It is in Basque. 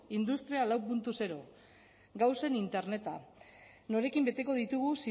industria lau puntu zero gauzen interneta norekin beteko ditugu